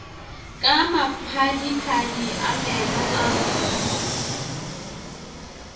ka maphadiphadi a meno a